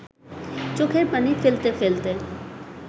চোখের পানি ফেলতে ফেলতে